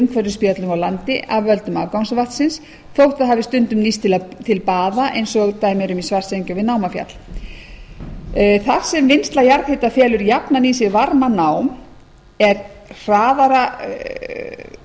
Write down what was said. umhverfisspjöllum á landi af völdum afgangsvatnsins þótt það hafi stundum nýst til baða eins og í svartsengi og við námafjall þar sem vinnsla jarðhita felur jafnan í sér varmanám sem er hraðara